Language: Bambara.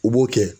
U b'o kɛ